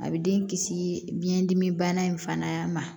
A bɛ den kisi biyɛn dimi bana in fana ma